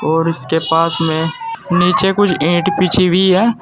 और इसके पास में नीचे कुछ ईंट बिछी हुई है।